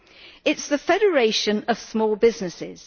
It is the Federation of Small Businesses.